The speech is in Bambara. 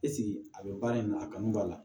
a bɛ baara in na a kanu b'a la